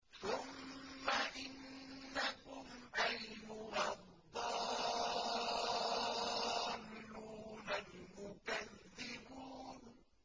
ثُمَّ إِنَّكُمْ أَيُّهَا الضَّالُّونَ الْمُكَذِّبُونَ